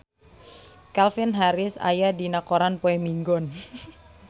Calvin Harris aya dina koran poe Minggon